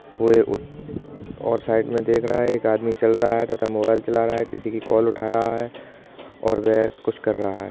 ओए उत और साइड में देख रहा है एक आदमी चल रहा है तथा मोबाइल चला रहा है। किसी की कॉल उठा रहा है और वह कुछ कर रहा है।